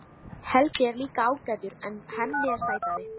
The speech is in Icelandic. Helgi er líka ágætur en Hemmi er sætari.